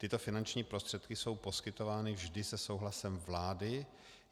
Tyto finanční prostředky jsou poskytovány vždy se souhlasem vlády.